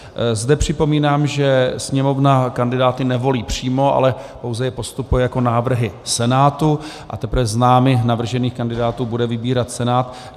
Zde připomínám, že Sněmovna kandidáty nevolí přímo, ale pouze je postupuje jako návrhy Senátu, a teprve z námi navržených kandidátů bude vybírat Senát.